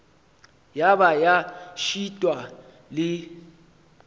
ya ba ya šitwa le